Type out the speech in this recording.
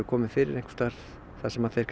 komið fyrir einhvers staðar þar sem þeir